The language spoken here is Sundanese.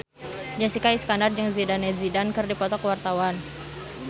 Jessica Iskandar jeung Zidane Zidane keur dipoto ku wartawan